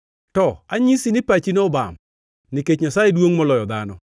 “To anyisi ni pachino obam, nikech Nyasaye duongʼ moloyo dhano.